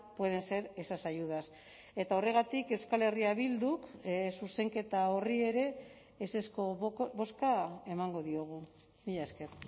pueden ser esas ayudas eta horregatik euskal herria bilduk zuzenketa horri ere ezezko bozka emango diogu mila esker